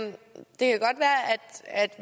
det er